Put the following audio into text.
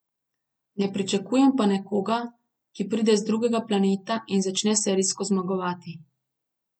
Ne pričakujem pa nekoga, ki pride z drugega planeta in začne serijsko zmagovati.